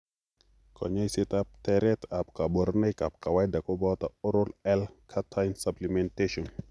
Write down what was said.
Kanyoiseet ak tereet ab kaborunoik kawaida kobooto oral L cartine supplementation